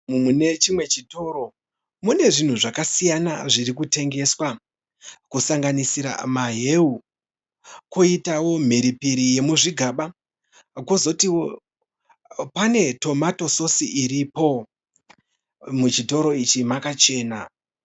Mune chimwe chitoro mune zvinhu zvakasiyana zviri kutengeswa. Kusanganisira mahewu koitawo mhiripiri yemuzvigaba kozoitiwo pane tomato sosi iripo. Muchitoro ichi makachena.